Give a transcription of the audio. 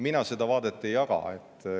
Mina seda vaadet ei jaga.